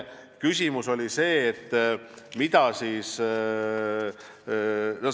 See oli see minu mõte.